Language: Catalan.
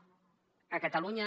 a catalunya